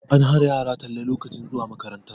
An hana yara talle lokacin zuwa makaranta